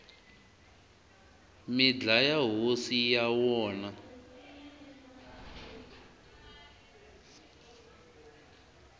mi dlaya hosi ya wona